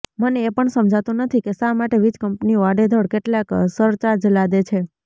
મને એ પણ સમજાતું નથી કે શા માટે વીજ કંપનીઓ આડેધડ કેટલાક સરચાર્જ લાદે છે